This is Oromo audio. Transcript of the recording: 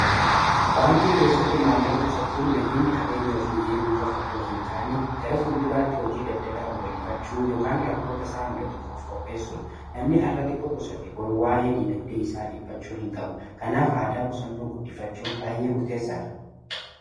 Baankii keessatti maallaqa qusachuun nageenya qabeenyaa oofii eeguu qofa otoo hin taane gara fuulduraatti hojii daldalaa babal'ifachuu yookaan rakkoo isaa mudatuuf of qopheessuudha. Namni hara'ati quusate boru waa'ee diinagdee isaa dhiphachuu hin qabu kanaaf aadaa qusannoo guddifachuun baay'ee murteessaadha.